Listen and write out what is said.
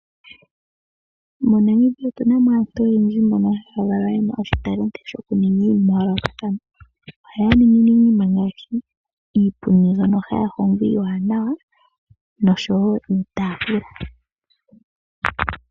MoNamibia otuna mo aantu oyendji mbono haya kala yena oshitalenti shokuninga iinima ya yoolokathana. Ohaya ningi iinima ngaashi iipundi mbyono haya hongo iiwanawa noshowo iitaafula.